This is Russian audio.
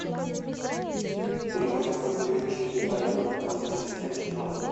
три восемьсот девять четыреста одиннадцать восемьдесят семь четырнадцать